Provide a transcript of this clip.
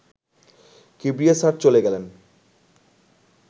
Kibria sir চলে গেলেন